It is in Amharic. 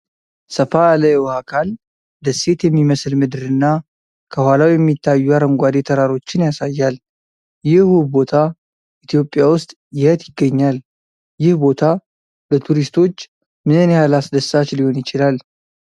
ሰፋ ያለ የውሃ አካል፣ ደሴት የሚመስል ምድር እና ከኋላው የሚታዩ አረንጓዴ ተራሮችን ያሳያል። ይህ ውብ ቦታ ኢትዮጵያ ውስጥ የት ይገኛል? ይህ ቦታ ለቱሪስቶች ምን ያህል አስደሳች ሊሆን ይችላል?